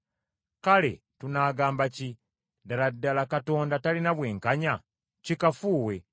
Kale tunaagamba ki? Ddala ddala Katonda talina bwenkanya? Kikafuuwe.